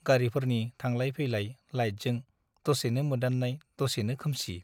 गारीफोरनि थांलाय फैलाय लाइटजों दसेनो मोदान्नाय दसेनो खोमसि ।